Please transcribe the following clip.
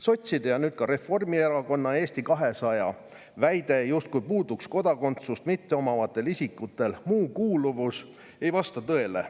Sotside ning nüüd ka Reformierakonna ja Eesti 200 väide, justkui puuduks kodakondsust mitteomavatel isikutel muu kuuluvus, ei vasta tõele.